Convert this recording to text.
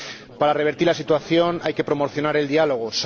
Para revertir la situación hay que promocionar el diálogo.